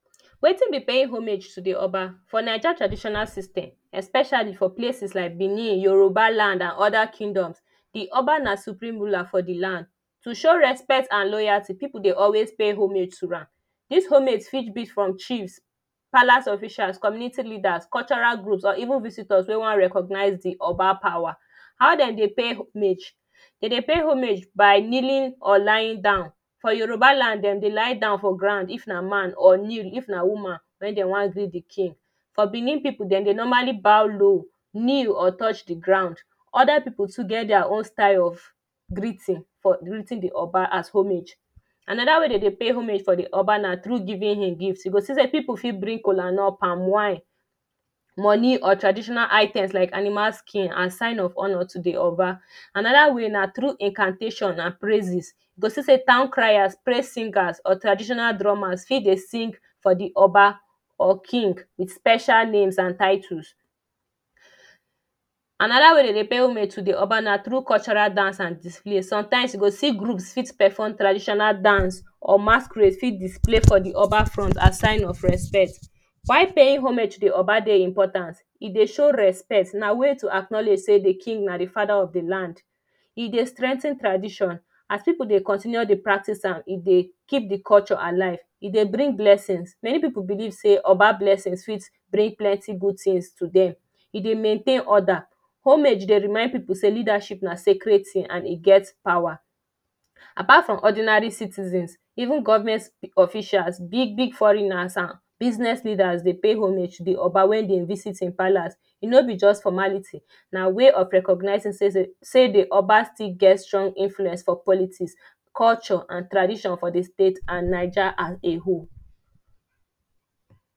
Wetin be paying homage to the Oba? For Naija traditional system, especially for places like Benin, Yoruba land and other kingdom, the Oba na supreme ruler for the land. To show respect and loyalty the people dey always pay homage to am. This homage fit be from chiefs palace officials, community leaders, cultural groups or even visitors wey wan recognize the Oba power. How Dem dey pay homage; Dem dey pay homage by kneeling or lying down. For yoruba land Dem dey lie down for ground if na man or kneel if na woman wey dem wan give the king For Benin people, Dem dey normally bow low, kneel or touch the ground. Other people too get their own style of greeting the Oba as homage. Another way Dem dey pay homage for the Oba na through giving him gifts. E go see sey people fit bring kolanut, palm wine money or traditional items like animal skin as sign of honour to the Oba. Another way na through incantation and praises. E go see say town criers, praise singers or traditional drummers fit dey sing for the Oba or king with special names and titles. Another way Dem dey pay homage to the Oba na through cultural dance and display. Sometimes e go see groups fit person traditional dance or masquerade for display for the Oba front as sign of respect Why paying homage to the Oba dey important? E dey show respect to acknowledge sey dey king na the Father of the Land. E dey strengthen tradition as people dey continue dey practice am, e dey keep the culture alive. E dey bring blessings: many people believe sey Oba blessings fit bring plenty good things to them. E dey maintain order. Homage dey remind people say leadership na sacred thing and e get power. Apart from ordinary citizens, even government officials, big big foreigner and business leaders dey pay homage to the Oba when Dem visit him palace. E no be for just formality na way of recognizing sey the Oba still get strong influence for politics culture and tradition for the State and Naija as a whole